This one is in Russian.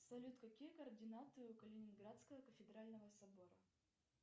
салют какие координаты у калининградского кафедрального собора